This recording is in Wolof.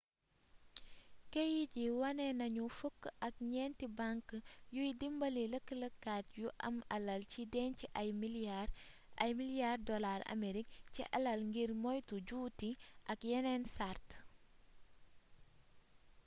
keyit yi wane nañu fukk ak ñenti bank yuy dimbali lëkkalekat yu am alal ci dénc ay milliards dollars aamerig ci alal ngir moytu juuti ak yenen sart